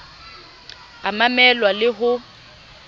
a mamel wa le ho